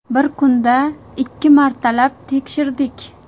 Bir kunda ikki martalab tekshirdik.